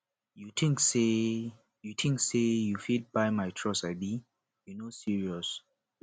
you tink sey you tink sey you fit buy my trust abi you no serious